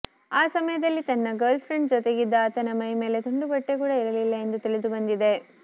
ಆ ಸಮಯದಲ್ಲಿ ತನ್ನ ಗರ್ಲ್ಫ್ರೆಂಡ್ ಜತೆಗಿದ್ದ ಆತನ ಮೈಮೇಲೆ ತುಂಡು ಬಟ್ಟೆ ಕೂಡ ಇರಲಿಲ್ಲ ಎಂದು ತಿಳಿದು ಬಂದಿದೆ